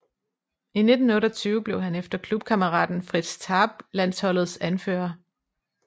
I 1928 blev han efter klubkammeraten Fritz Tarp landsholdets anfører